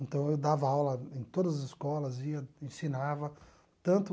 Então eu dava aula em todas as escolas, ia, ensinava tanto